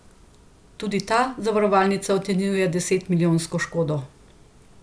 Večino časa gre za isto osebo kot v alineji zgoraj.